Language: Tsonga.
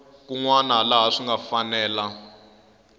wana laha swi nga fanela